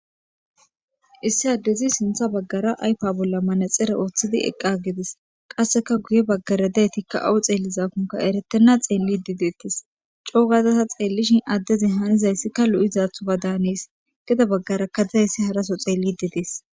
Issi adezi sinththa baggara ayppe bolla manaxire woththidi eqqi agidees. Qassekka guye baggara dizaytikka awo xeelizakonne eretena xellishe de'etees. Co gadda ta xeelishin adezi hanizayssika lo'izaddan hannees. Gede bagarakka dizayssi harasso xellishe de'es.